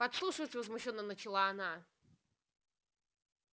подслушивать возмущённо начала она